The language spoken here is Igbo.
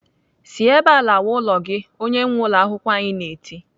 "Si ebe a lawa ụlọ gị!" Onye nwee ụlọakwụkwọ ahụ na-eti.